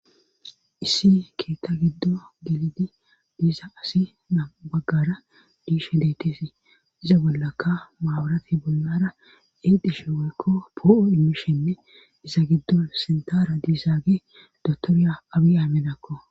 issi keeta giddo gelidi diisa asi na baggara diishe deetesi iza bollaka maawurati bolnara edishe weykko poo7o immishenne isa giddo sintaara diisaage dotorya abi-aminakko